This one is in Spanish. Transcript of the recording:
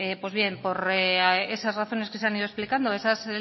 pues bien por esas razones que se han ido explicando esas